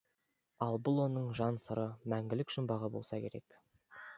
ал бұл оның жан сыры мәңгілік жұмбағы болса керек